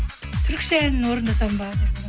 түрікше әнін орындасам ба